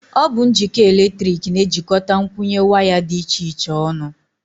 Ọ bụ njikọ eletrik na-ejikọta nkwụnye waya dị iche iche ọnụ.